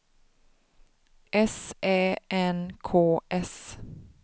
S Ä N K S